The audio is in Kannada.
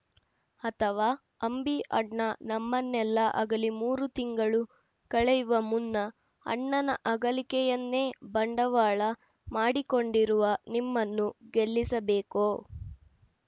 ಅಥವಾ ಅಂಬಿ ಅಣ್ಣ ನಮ್ಮನ್ನೆಲ್ಲ ಅಗಲಿ ಮೂರು ತಿಂಗಳು ಕಳೆಯುವ ಮುನ್ನ ಅಣ್ಣನ ಅಗಲಿಕೆಯನ್ನೇ ಬಂಡವಾಳ ಮಾಡಿಕೊಂಡರುವ ನಿಮ್ಮನ್ನು ಗೆಲ್ಲಿಸಬೇಕೋ